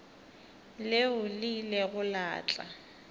leo le ilego la tla